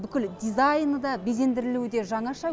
бүкіл дизайны да безендірілуі де жаңаша